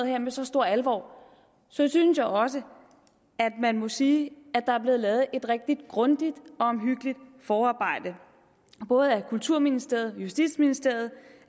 her med så stor alvor synes jeg også at man må sige at der er blevet lavet et rigtig grundigt og omhyggeligt forarbejde af både kulturministeriet justitsministeriet